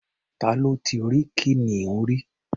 Ta ló ti rí kìnìún rí?